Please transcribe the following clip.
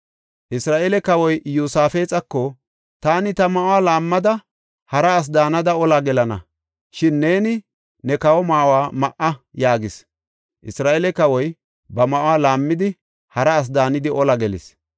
Isra7eele kawoy Iyosaafexako, “Taani ta ma7uwa laammada hara asi daanada olaa gelana; shin neeni ne kawo ma7uwa ma7a” yaagis. Isra7eele kawoy ba ma7uwa laammidi hara asi daanidi olaa gelis.